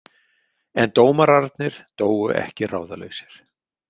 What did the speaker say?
En dómararnir dóu ekki ráðalausir.